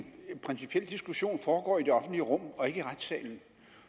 at en principiel diskussion foregår i det offentlige rum og ikke i retssalen